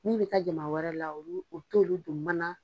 Min bɛ taa jama wɛrɛ la u t'olu don mana